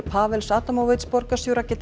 Pawels Adamowicz borgarstjóra